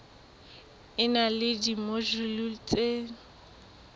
e na le dimojule tse